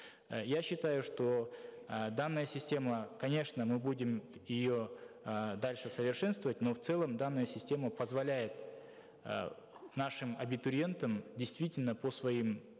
э я считаю что э данная система конечно мы будем ее э дальше совершенствовать но в целом данная система позволяет э нашим абитуриентам действительно по своим